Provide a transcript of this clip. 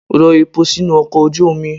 Rọ epo sínú ọkọ̀ ojú omi!